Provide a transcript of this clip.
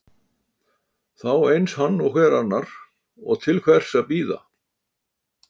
Þá eins hann og hver annar, og til hvers að bíða.